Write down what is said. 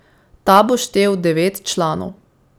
Ta bo štel devet članov.